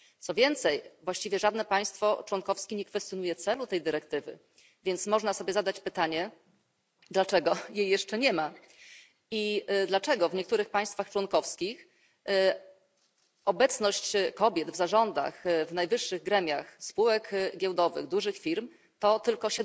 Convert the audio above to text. Co więcej, właściwie żadne państwo członkowskie nie kwestionuje celu tej dyrektywy, więc można sobie zadać pytanie dlaczego jej jeszcze nie ma i dlaczego w niektórych państwach członkowskich obecność kobiet w zarządach, w najwyższych gremiach spółek giełdowych dużych firm to tylko